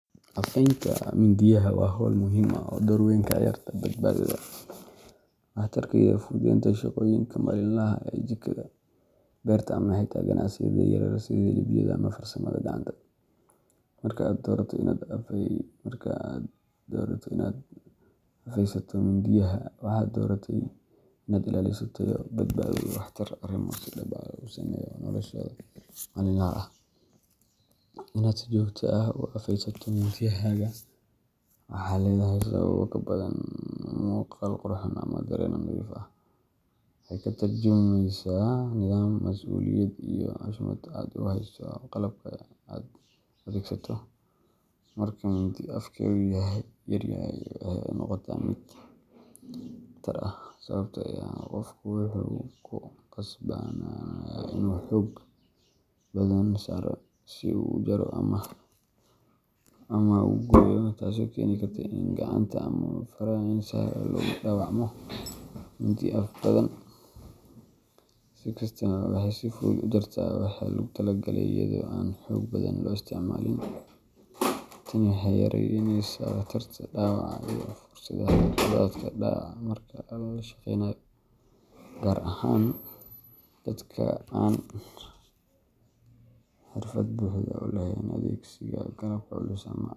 Afeynta mindiyaha waa hawl muhiim ah oo door weyn ka ciyaarta badbaadada, waxtarka, iyo fududeynta shaqooyinka maalinlaha ah ee jikada, beerta, ama xitaa ganacsiyada yaryar sida hilibleyda ama farsamada gacanta. Marka aad doorato inaad afaysato mindiyahaaga, waxaad dooratay inaad ilaaliso tayo, badbaado, iyo waxtar arrimo si dhab ah u saameeya noloshaada maalinlaha ah. Inaad si joogto ah u afeysato mindiyahaaga waxay leedahay sabab ka badan muuqaal qurxoon ama dareen nadiif ah; waxay ka tarjumaysaa nidaam, mas’uuliyad, iyo xushmad aad u hayso qalabka aad adeegsato. Marka mindi afkeedu yaryahay, waxay noqotaa mid khatar ah, sababtoo ah qofku wuxuu ku khasbanaanayaa inuu xoog badan saaro si uu u jaro ama u gooyo, taasoo keeni karta in gacanta ama faraha si sahal ah loogu dhaawacmo. Mindi af badan, si kastaba, waxay si fudud u jartaa waxa lagu tala galay iyadoo aan xoog badan loo isticmaalin. Tani waxay yareyneysaa khatarta dhaawaca iyo fursadda khaladaadka dhaca marka la shaqeynayo, gaar ahaan dadka aan xirfad buuxda u lahayn adeegsiga qalabka culus ama .